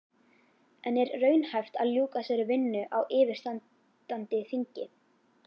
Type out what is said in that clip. En er raunhæft að ljúka þessari vinnu á yfirstandandi þingi?